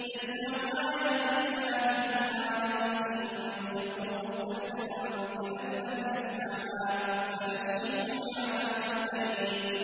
يَسْمَعُ آيَاتِ اللَّهِ تُتْلَىٰ عَلَيْهِ ثُمَّ يُصِرُّ مُسْتَكْبِرًا كَأَن لَّمْ يَسْمَعْهَا ۖ فَبَشِّرْهُ بِعَذَابٍ أَلِيمٍ